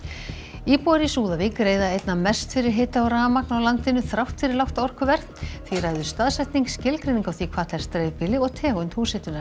íbúar í Súðavík greiða einna mest fyrir hita og rafmagn á landinu þrátt fyrir lágt orkuverð því ræður staðsetning skilgreining á því hvað telst dreifbýli og tegund húshitunar